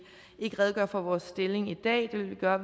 ikke redegøre for vores stilling i dag det vil vi gøre